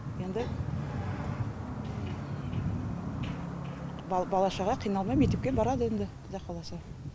енді бал бала шаға қиналмай мектепке барады енді құдай қаласа